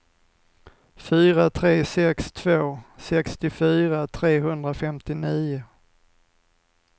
fyra tre sex två sextiofyra trehundrafemtionio